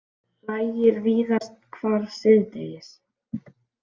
Lægir víðast hvar síðdegis